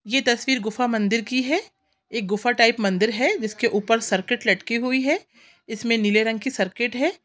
ये तस्वीर गुफा मंदिर की है एक गुफा टाइप मंदिर है जिसके ऊपर सर्किट लटकी हुई है इसमें नीले रंग की सर्किट है।